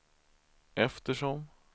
eftersom